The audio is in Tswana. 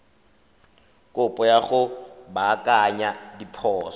kopo ya go baakanya diphoso